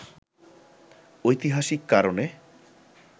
ঐতিহাসিক কারণে